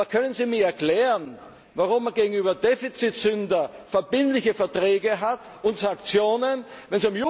Aber können Sie mir erklären, warum man gegenüber Defizitsündern verbindliche Verträge und Sanktionen hat?